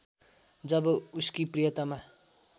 जब उसकी प्रियतमा